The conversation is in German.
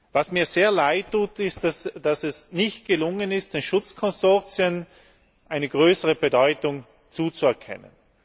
Was mir sehr leid tut ist, dass es nicht gelungen ist, den Schutzkonsortien eine größere Bedeutung zuzuerkennen.